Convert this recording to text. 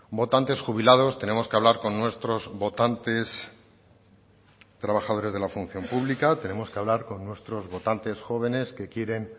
votantes jubilados tenemos que hablar con nuestros votantes trabajadores de la función pública tenemos que hablar con nuestros votantes jóvenes que quieren